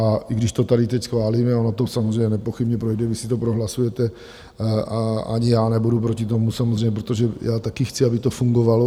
A i když to tady teď schválíme - ono to samozřejmě nepochybně projde, vy si to prohlasujete a ani já nebudu proti tomu samozřejmě, protože já taky chci, aby to fungovalo.